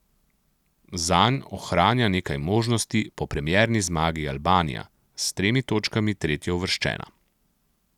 Zanj ohranja nekaj možnosti po premierni zmagi Albanija, s tremi točkami tretjeuvrščena.